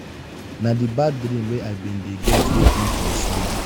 na di bad dream wey i bin dey get wake me from sleep.